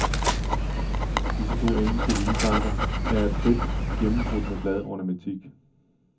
Disse to engelske vinbakker er af plet gennembrudt med bladornamentik.